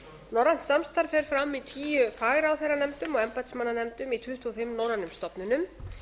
norrænt samstarf fer fram í tíu fagráðherranefndum og embættismannanefndum í tuttugu og fimm norrænum stofnunum